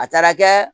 A taara kɛ